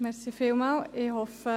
Kommissionssprecherin der SAK.